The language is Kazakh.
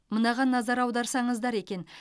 мынаған назар аударсаңыздар екен